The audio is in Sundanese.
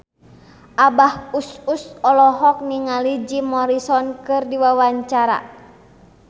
Abah Us Us olohok ningali Jim Morrison keur diwawancara